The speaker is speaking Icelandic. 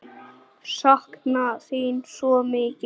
Sakna þín svo mikið.